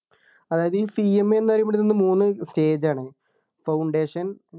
അതായത് ഈ CMA ന്നു പറയപ്പെടുന്നത് മൂന്ന് stage ആണ് Foundation